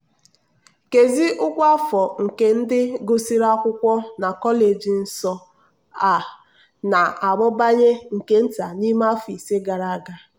nkezi ụgwọ afọ nke ndị gụsịrị akwụkwọ na kọleji nso a na-amụbanye nke nta n'ime afọ ise gara aga.